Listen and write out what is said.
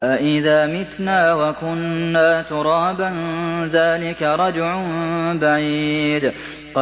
أَإِذَا مِتْنَا وَكُنَّا تُرَابًا ۖ ذَٰلِكَ رَجْعٌ بَعِيدٌ